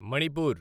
Manipur